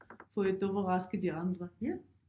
For at overraske de andre ja